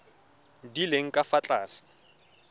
di leng ka fa tlase